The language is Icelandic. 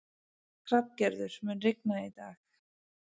Hrafngerður, mun rigna í dag?